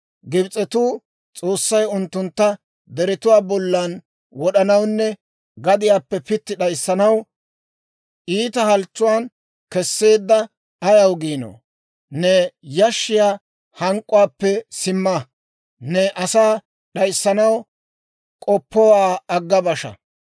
Gibs'etuu, ‹S'oossay unttuntta deretuwaa bollan wod'anawunne gadiyaappe pitti d'ayssanaw, iita halchchuwaan kesseedda› ayaw ginoo? Ne yashshiyaa hank'k'uwaappe simma; ne asaa d'ayssanaw k'oppowaa agga basha.